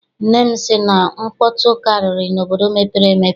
Nne m sị na nkpọtụ karịrị n'obodo mepere emepe.